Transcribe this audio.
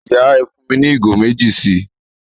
Ìyà, ẹ́ fún mi ni igo mẹ̀jì sí